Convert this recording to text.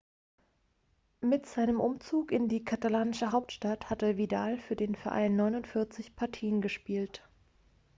seit seinem umzug in die katalanische hauptstadt hatte vidal für den verein 49 partien gespielt